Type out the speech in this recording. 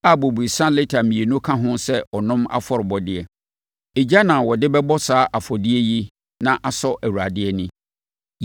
a bobesa lita mmienu ka ho sɛ ɔnom afɔrebɔdeɛ. Egya na wɔde bɛbɔ saa afɔdeɛ yi na asɔ Awurade ani.